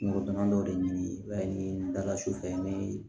Kungolo damadɔ de ɲini i b'a ye ni daga su fɛ ni